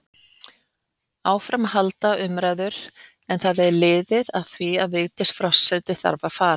Áfram halda umræður, en það er liðið að því að Vigdís forseti þarf að fara.